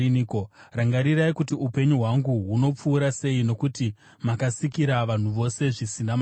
Rangarirai kuti upenyu hwangu hunopfuura sei. Nokuti makasikira vanhu vose zvisina maturo!